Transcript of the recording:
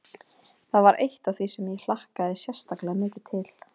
Það var eitt af því sem ég hlakkaði sérstaklega mikið til.